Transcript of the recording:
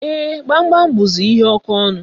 Ee, Gbamgbam buzi ihe oke ọnụ